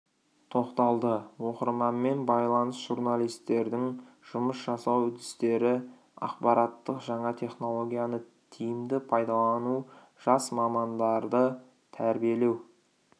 тоқталды оқырманмен байланыс журналистердің жұмыс жасау дістері ақпараттық жаңа технологияны тиімді пайдалану жас мамандарды трбиелеу